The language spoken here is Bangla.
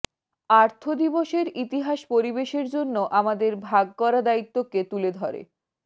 আর্থ দিবসের ইতিহাস পরিবেশের জন্য আমাদের ভাগ করা দায়িত্বকে তুলে ধরে